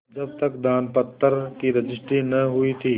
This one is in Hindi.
जब तक दानपत्र की रजिस्ट्री न हुई थी